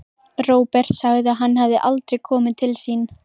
Róbert sagði að hann hefði aldrei komið til sín.